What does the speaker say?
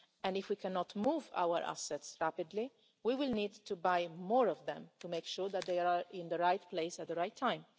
If we cannot move our assets rapidly, we will need to buy more of them to make sure that they are in the right place at the right time.